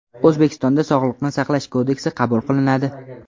O‘zbekistonda Sog‘liqni saqlash kodeksi qabul qilinadi.